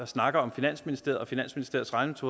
snakker om finansministeriet og finansministeriets